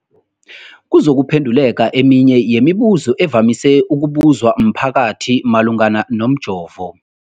kuzokuphe nduleka eminye yemibu zo evamise ukubuzwa mphakathi malungana nomjovo.